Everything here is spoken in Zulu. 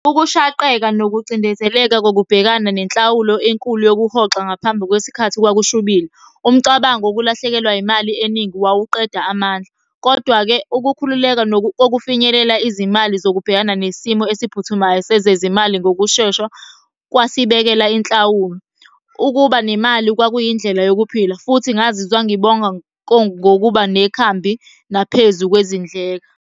Ukushaqeka nokucindezeleka kokubhekana nenhlawulo enkulu yokuhoxa ngaphambi kwesikhathi kwakushubile. Umcabango wokulahlekelwa yimali eningi wawuqeda amandla, kodwa-ke ukukhululeka kokufinyelela izimali zokubhekana nesimo esiphuthumayo sezezimali ngokushesha kwasibekela inhlawulo. Ukuba nemali kwakuyindlela yokuphila, futhi ngazizwa ngibonga ngokuba nekhambi naphezu kwezindleka.